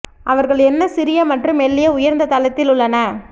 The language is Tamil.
அவர்கள் என்ன சிறிய மற்றும் மெல்லிய உயர்ந்த தரத்தில் உள்ளன